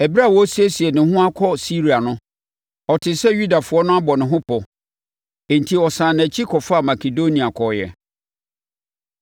Ɛberɛ a ɔresiesie ne ho akɔ Siria no, ɔtee sɛ Yudafoɔ no abɔ ne ho pɔ; enti ɔsane nʼakyi kɔfaa Makedonia kɔeɛ.